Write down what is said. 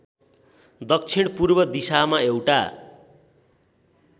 दक्षिणपूर्व दिशामा एउटा